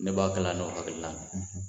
Ne b'a kalan n'o hakilina de ye